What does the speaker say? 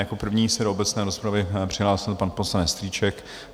Jako první se do obecné rozpravy přihlásil pan poslanec Strýček.